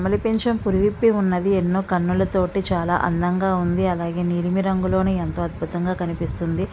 నెమలి పించం పూరి విప్పి ఉన్నది. ఎన్నో కన్నుల తోటి చాలా అందంగా ఉంది. అలాగే నిలిమి రంగు లోని ఎంతో అద్భుతంగా కనిపిస్తుంది.